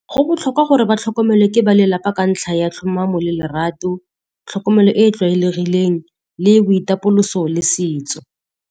Go botlhokwa gore ba tlhokomelwa ke ba lelapa ka ntlha ya tlhomamo le lerato, tlhokomelo e e tlwaelegileng, le boitapoloso le setso.